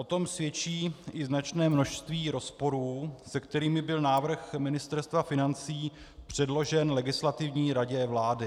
O tom svědčí i značné množství rozporů, se kterými byl návrh Ministerstva financí předložen Legislativní radě vlády.